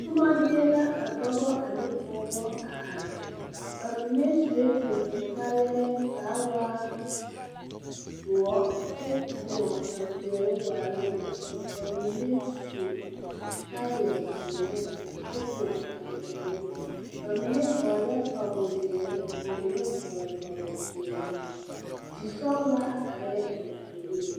Tomma zie la ka dɔbo ane pɔgebɔ a are ba mine suee tonton kaayarree kaa waa doɔ kyɛ tõɔne tɛmpeɛloŋ waaloŋ poglilee su kaaya zeere kyɛ tõɔ tampɛloŋ ba mine vɔglɛɛ kpawozeere ka ba mine vɔgle kpawopeɛɛli di sɔglaa areɛɛ a be puoriŋ.